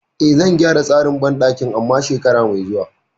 E, zan gyara tsarin banɗakin amma shekara mai zuwa.